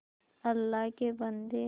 अल्लाह के बन्दे